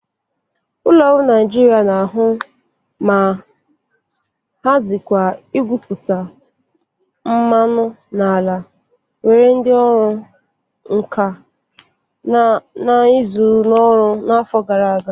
Ụlọ ọrụ Nịajịrịa na-ahụ ma hazịkwa igwupụta mmanụ n'ala were ndị ọrụ nka na ụzụ n'ọrụ n'afọ gara aga.